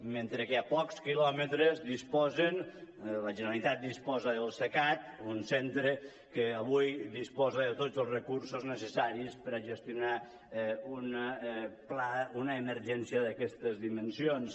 mentre que a pocs quilòmetres la generalitat disposa del cecat un centre que avui disposa de tots els recursos necessaris per a gestionar una emergència d’aquestes dimensions